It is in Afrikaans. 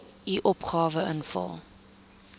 u opgawe invul